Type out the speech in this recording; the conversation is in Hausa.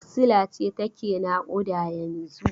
Wacsila ce take naƙuda yanzun?